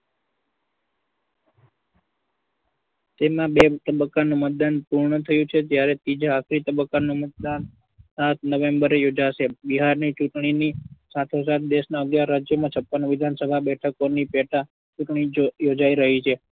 તેમાં બે તબક્કાનું મતદાન પૂર્ણ થયું છે જયારે ત્રીજા આખરી તબક્કાનું મતદાન સાત november એ યોજાશે. બિહારની ચુંટણીની સાથોસાથ દેશના અગિયાર રાજ્યોમાં છપ્પન વિધાનસભા બેઠકોની પેટા ચુંટણી યોજાઈ રહી છે.